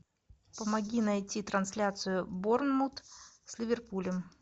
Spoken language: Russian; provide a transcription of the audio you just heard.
помоги найти трансляцию борнмут с ливерпулем